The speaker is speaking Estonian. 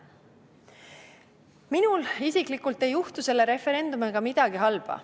Minule isiklikult ei juhtu selle referendumiga midagi halba.